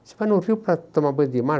Você vai no rio para tomar banho de mar?